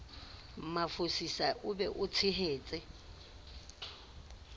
mafosisa o be o tshehetse